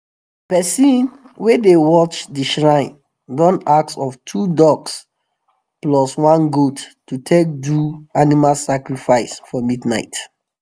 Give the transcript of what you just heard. person wey dey watch the shrine don ask of two ducks plus one goat to take do animal sacrifice for midnight.